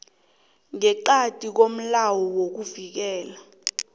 ngeqadi komlayo wokuvikelwa